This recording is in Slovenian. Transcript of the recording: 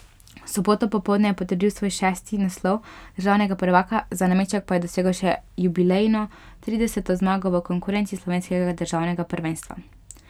V soboto popoldne je potrdil svoj šesti naslov državnega prvaka, za nameček pa je dosegel še jubilejno trideseto zmago v konkurenci slovenskega državnega prvenstva.